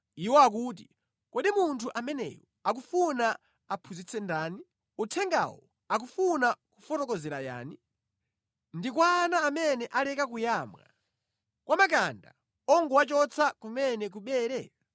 Iwo akuti, “Kodi munthu ameneyu akufuna aphunzitse ndani? Uthengawu akufuna kufotokozera yani? Ndi kwa ana amene aleka kuyamwa, kwa makanda ongowachotsa kumene ku bere?